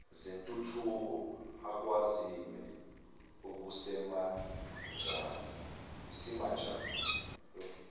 zentuthuko akwaziwe kusemanjena